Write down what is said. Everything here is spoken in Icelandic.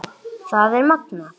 Það er magnað.